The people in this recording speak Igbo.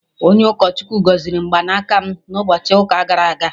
Onye ụkọ Chukwu gọziri mgbanaka m na ụbọchị ụka gara aga